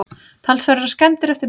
Talsverðar skemmdir eftir bruna